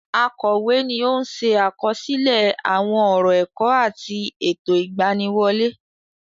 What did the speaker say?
Akọ̀wé ni ó ń se àkọsílẹ àwọn ọ̀rọ ẹ̀kọ́ àti ètò ìgbaniwọlé.